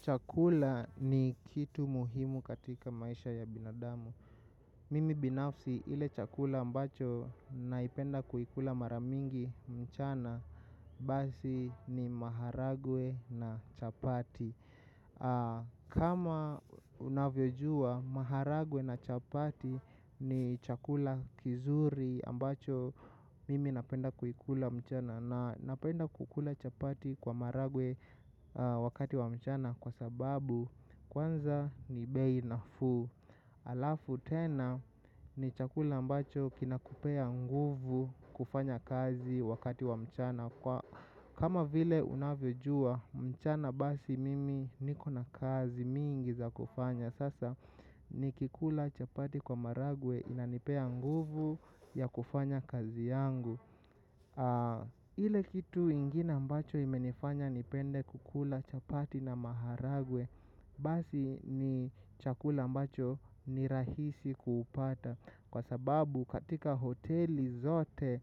Chakula ni kitu muhimu katika maisha ya binadamu. Mimi binafsi ile chakula ambacho naipenda kuikula mara mingi mchana basi ni maharagwe na chapati. Kama unavyojua maharagwe na chapati ni chakula kizuri ambacho mimi napenda kuikula mchana. Na napenda kukula chapati kwa maharagwe wakati wa mchana kwa sababu kwanza ni bei nafuu. Alafu tena ni chakula ambacho kinakupea nguvu kufanya kazi wakati wa mchana kwa kama vile unavyojua mchana basi mimi niko na kazi mingi za kufanya. Sasa nikikula chapati kwa maharagwe inanipea nguvu ya kufanya kazi yangu. Ile kitu ingine ambacho imenifanya nipende kukula chapati na maharagwe. Basi ni chakula ambacho ni rahisi kupata. Kwa sababu katika hoteli zote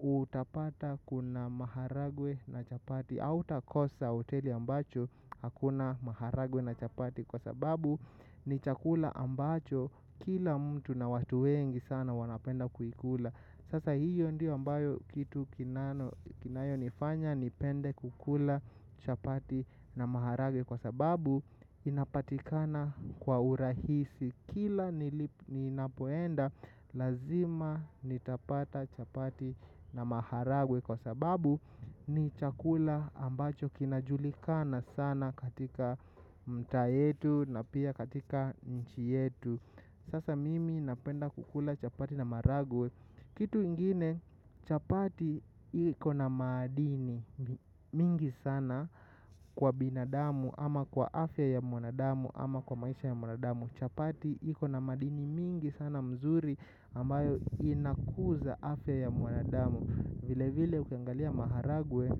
utapata kuna maharagwe na chapati hautakosa hoteli ambacho hakuna maharagwe na chapati. Kwa sababu ni chakula ambacho kila mtu na watu wengi sana wanapenda kuikula sasa hio ndio ambayo kitu kinalo kinayo nifanya nipende kukula chapati na maharagwe kwa sababu inapatikana kwa urahisi kila ninapoenda lazima nitapata chapati na maharagwe kwa sababu ni chakula ambacho kinajulikana sana katika mtaa yetu na pia katika nchi yetu. Sasa mimi napenda kukula chapati na maharagwe. Kitu ingine chapati iko na madini mingi sana kwa binadamu ama kwa afya ya mwanadamu ama kwa maisha ya mwanadamu. Chapati iko na madini mingi sana mzuri ambayo inakuza afya ya mwanadamu. Vile vile ukingalia maharagwe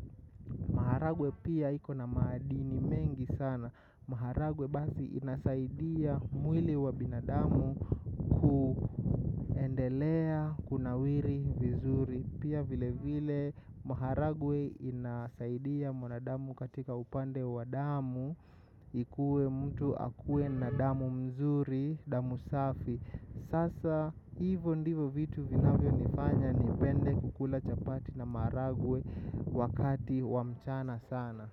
maharagwe pia iko na madini mengi sana maharagwe basi inasaidia mwili wa binadamu kuendelea kunawiri vizuri pia vile vile maharagwe inasaidia mwanadamu katika upande wa damu ikuwe mtu akuwe na damu mzuri, damu safi sasa hivyo ndivo vitu vinafyonifanya nipende kukula chapati na maharagwe wakati wa mchana sana.